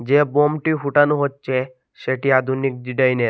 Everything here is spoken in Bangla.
যে বোমটি ফোটানো হচ্ছে সেটি আধুনিক ডিডাইনের ।